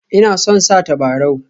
Ina son sa tabarau